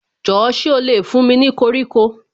Jọ̀ọ́ ṣé ó lè fún mi ní koríko